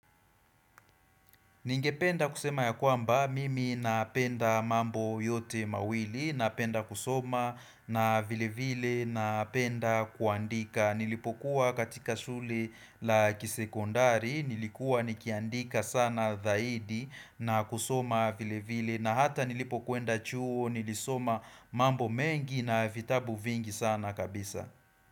Ningependa kusema ya kwamba, mimi napenda mambo yote mawili, napenda kusoma, na vile vile, napenda kuandika. Nilipokuwa katika shule la kisekondari, nilikuwa nikiandika sana dhaidi, na kusoma vile vile, na hata nilipokwenda chuo, nilisoma mambo mengi na vitabu vingi sana kabisa.